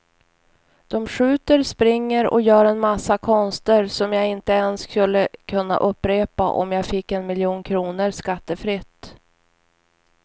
De skjuter, springer och gör en massa konster som jag inte ens skulle kunna upprepa om jag fick en miljon kronor skattefritt.